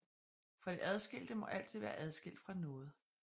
For det adskilte må altid være adskilt fra noget